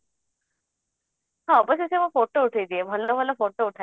ସେ ଆଗ ସେ ସବୁ photo ଉଥେଇ ଦିଏ ଭଲ ଭଲ photo ଉଠାଏ ସିଏ